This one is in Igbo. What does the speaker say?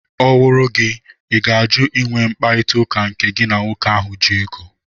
Ọ wụrụ gị, ị ga-ajụ ị nwe mkparịtaụka nke gị na nwoke ahụ ji ego?